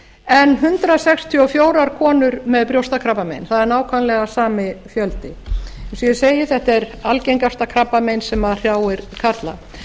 en hundrað sextíu og fjórar konur með brjóstakrabbamein það er nákvæmlega sami fjöldi eins og ég segi þetta er algengasta krabbamein sem hrjáir karla